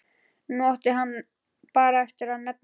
Nú átti hann bara eftir að nefna það.